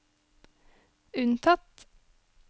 unntatt